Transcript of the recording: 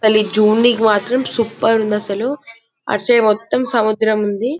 అది చుడనికి మాత్రం సూపర్ ఉంది అసలు అట్ఠసైడు మొత్తం సముద్రం ఉంది--